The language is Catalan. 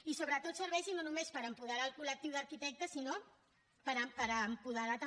i sobretot que serveixi no només per apoderar el col·lectiu d’arquitectes sinó per apoderar també